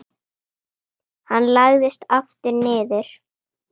Hann lagðist aftur niður.